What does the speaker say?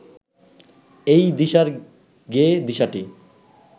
এই দিশার গেয়ে দিশাটি